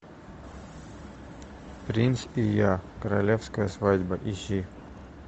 принц и я королевская свадьба ищи